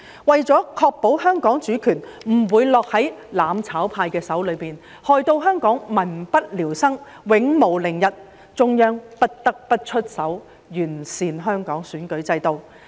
為了確保香港主權不會落在"攬炒派"手中，害到香港民不聊生，永無寧日，中央不得不出手完善香港選舉制度。